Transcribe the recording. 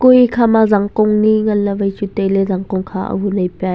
e kha ma jangkong ni ngan la wai chu taile jangkon kha ama le pe.